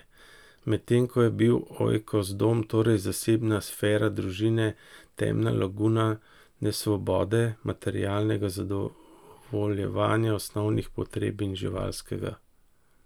Med tem, ko je bil oikos, dom, torej zasebna sfera družine, temna laguna nesvobode, materialnega, zadovoljevanja osnovnih potreb in živalskega.